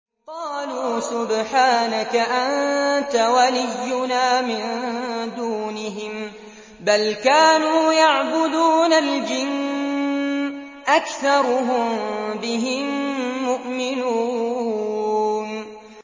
قَالُوا سُبْحَانَكَ أَنتَ وَلِيُّنَا مِن دُونِهِم ۖ بَلْ كَانُوا يَعْبُدُونَ الْجِنَّ ۖ أَكْثَرُهُم بِهِم مُّؤْمِنُونَ